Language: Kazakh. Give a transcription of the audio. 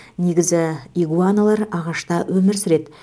негізі игуаналар ағашта өмір сүреді